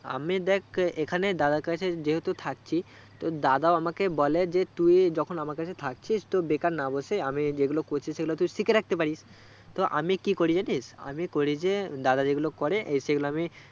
আমি দেখ এখানে দাদার কাছে যেহেতু থাকছি তো দাদাও আমাকে বলে তু যখন আমার কাছে থাকছিস তো বেকার না বসে আমি যেগুলো করছি সেগুলো তুই সিকে রাখতে পারিস, তো আমি কি করি জানিস আমি করি যে দাদা যেগুলো করে সেগুলো আমি